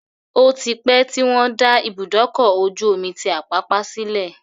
Ó ti pẹ́ tí wọ́n dá Ibùdókọ̀-ojú omi tí Àpápá sílẹ̀